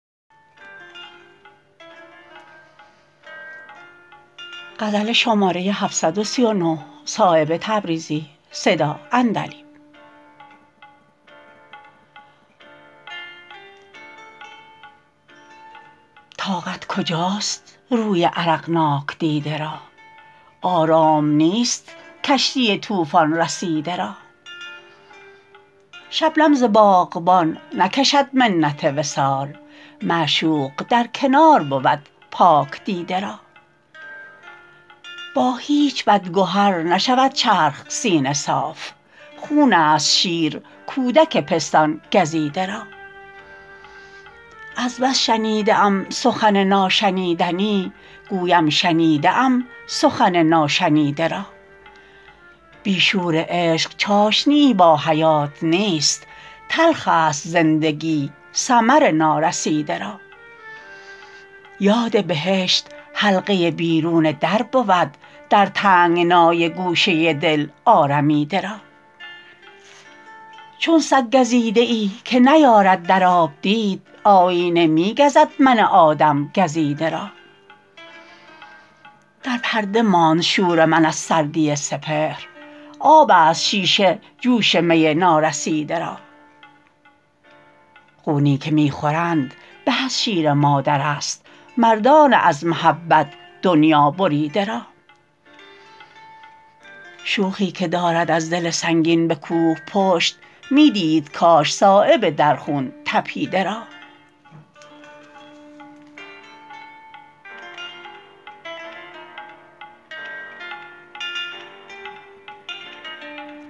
طاقت کجاست روی عرقناک دیده را آرام نیست کشتی طوفان رسیده را شبنم ز باغبان نکشد منت وصال معشوق در کنار بود پاک دیده را با هیچ بد گهر نشود چرخ سینه صاف خون است شیر کودک پستان گزیده را از بس شنیده ام سخن ناشنیدنی گویم شنیده ام سخن ناشنیده را بی شور عشق چاشنیی با حیات نیست تلخ است زندگی ثمر نارسیده را یاد بهشت حلقه بیرون در بود در تنگنای گوشه دل آرمیده را چون سگ گزیده ای که نیارد در آب دید آیینه می گزد من آدم گزیده را در پرده ماند شور من از سردی سپهر آب است شیشه جوش می نارسیده را خونی که می خورند به از شیر مادرست مردان از محبت دنیا بریده را شوخی که دارد از دل سنگین به کوه پشت می دید کاش صایب در خون تپیده را